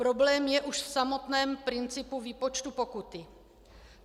Problém je už v samotném principu výpočtu pokuty.